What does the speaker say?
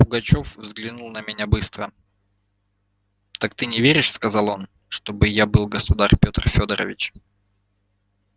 пугачёв взглянул на меня быстро так ты не веришь сказал он чтоб я был государь петр фёдорович